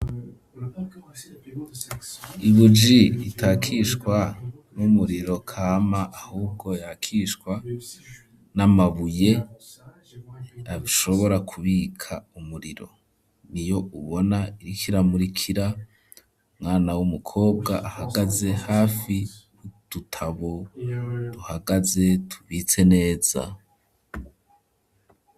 Ibuji itakishwa n'umuriro kama ahubwo yakishwa n'amabuye abishobora ku bika umuriro niyo ubona iriko ira murikira umwana wumu kobwa ahagaze hafi udutabo duhagaze tubitse neza.